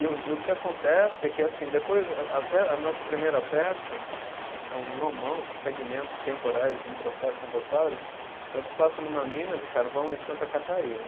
E o, e o que acontece é que assim, depois a, até a nossa primeira peça, que é um nomão, segmentos temporais de um processo endofágico, ela se passa numa mina de carvão em Santa Catarina.